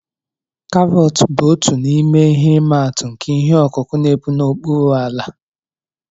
Karọt bụ otu n'ime ihe imatụ nke ihe ọkụkụ n'epu n'okpuru ala